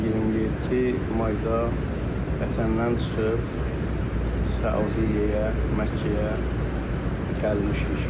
27 mayda vətəndən çıxıb Səudiyyəyə, Məkkəyə gəlmişik.